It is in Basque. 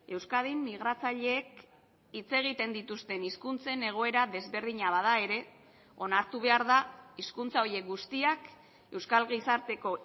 euskadin migratzaileek hitz egiten dituzten hizkuntzen egoera desberdina bada ere onartu behar da hizkuntza horiek guztiak euskal gizarteko